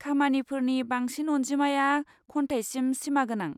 खामानिफोरनि बांसिन अनजिमाया खन्थाइसिम सिमागोनां।